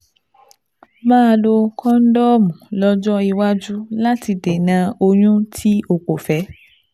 Máa lo kóńdọ́ọ̀mù lọ́jọ́ iwájú láti dènà oyún tí o kò fẹ́